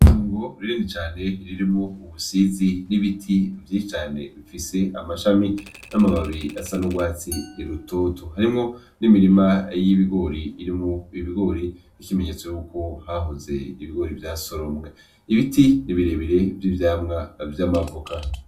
Tungo ririndi cane ririmo ubusizi n'ibiti vyicane mfise amashami n'amababiri asa n'urwatsi i rutotu harimwo n'imirima y'ibigori irimo ibigori ikimenyetso yuko hahoze ibigori vya soromwe ibiti nibirebire vy'ivyamwa vy'amavuka.